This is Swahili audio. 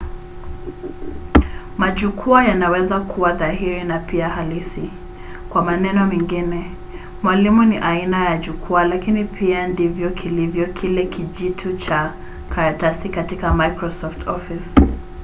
majukwaa yanaweza kuwa dhahiri na pia halisi kwa maneno mengine mwalimu ni aina ya jukwaa lakini pia ndivyo kilivyo kile kijitu cha karatasi katika microsoft office